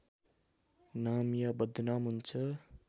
नाम या बदनाम हुन्छ